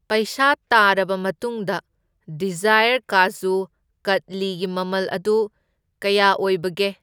ꯄꯩꯁꯥ ꯇꯥꯔꯕ ꯃꯇꯨꯡꯗ ꯗꯤꯖꯥꯏꯌꯔ ꯀꯥꯖꯨ ꯀꯇ꯭ꯂꯤꯒꯤ ꯃꯃꯜ ꯑꯗꯨ ꯀꯌꯥ ꯑꯣꯕꯒꯦ?